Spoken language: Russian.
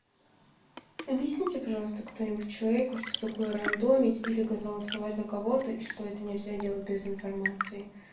объясните пожалуйста кто-нибудь человеку что такое рандомить или голосовать за кого-то и что это нельзя делать без информации